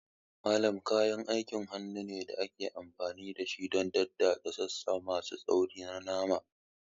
Mallet kayan aikin hannu ne da ake amfani da shi don daddatsa sassa masu tsauri na nama.